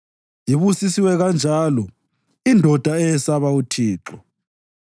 Ibusisiwe kanjalo indoda eyesaba uThixo.